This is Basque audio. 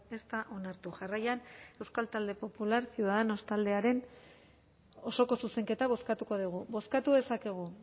ez da onartu jarraian euskal talde popular ciudadanos taldearen osoko zuzenketa bozkatuko dugu bozkatu dezakegu